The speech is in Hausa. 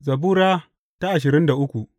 Zabura Sura ashirin da uku